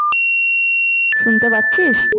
শুনতে পাচ্ছিস?